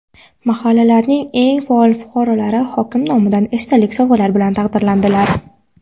Mahallalarning eng faol fuqarolari hokim nomidan esdalik sovg‘alar bilan taqdirlandilar.